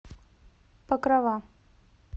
покрова